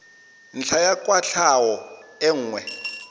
ntlha ya kwatlhao e nngwe